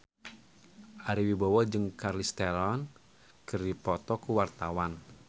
Ari Wibowo jeung Charlize Theron keur dipoto ku wartawan